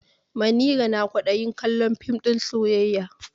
Manira na kwaɗayin kallon fim ɗin soyayya.